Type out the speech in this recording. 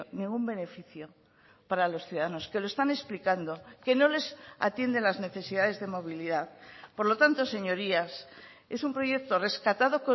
ningún beneficio para los ciudadanos que lo están explicando que no les atiende las necesidades de movilidad por lo tanto señorías es un proyecto rescatado